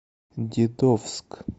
дедовск